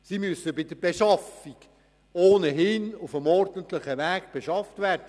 Die Geräte müssen schon aufgrund der Finanzkompetenzen ohnehin auf dem ordentlichen Weg beschafft werden.